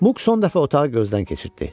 Muk son dəfə otağı gözdən keçirtdi.